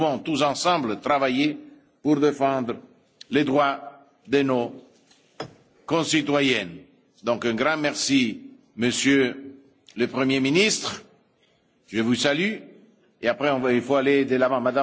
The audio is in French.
Nous devons tous ensemble travailler pour défendre les droits de nos concitoyens. Un grand merci, Monsieur le Premier ministre, je vous salue et après on va aller de l'avant.